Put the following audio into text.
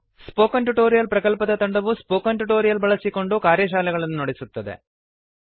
spoken tutorial ಪ್ರಕಲ್ಪದ ತಂಡವುಸ್ಪೋಕನ್ tutorials ಬಳಸಿಕೊಂಡು ಕಾರ್ಯಶಾಲೆಗಳನ್ನು ನಡೆಸುತ್ತದೆ